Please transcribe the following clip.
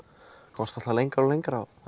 komst alltaf lengra og lengra og